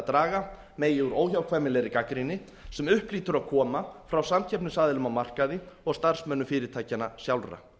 draga megi úr óhjákvæmilegri gagnrýni sem upp hlýtur að koma frá samkeppnisaðilum á markaði og starfsmönnum fyrirtækjanna sjálfra